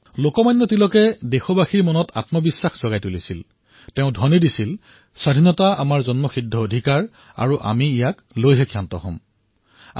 লোকমান্য তিলকে দেশবাসীৰ অন্তৰত আত্মবিশ্বাস জগাই ধ্বনি দিছিল স্বৰাজ আমাৰ জন্মস্বত্ব অধিকাৰ আৰু ইয়াক আমি প্ৰাপ্ত কৰিমেই